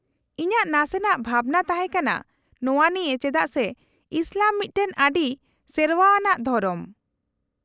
-ᱤᱧᱟᱹᱜ ᱱᱟᱥᱮᱱᱟᱜ ᱵᱷᱟᱵᱱᱟ ᱛᱟᱦᱮᱸ ᱠᱟᱱᱟ ᱱᱚᱶᱟ ᱱᱤᱭᱟᱹ ᱪᱮᱫᱟᱜ ᱥᱮ ᱤᱥᱞᱟᱢ ᱢᱤᱫᱴᱟᱝ ᱟᱹᱰᱤ ᱥᱮᱨᱶᱟ ᱟᱱᱟᱜ ᱫᱷᱚᱨᱚᱢ ᱾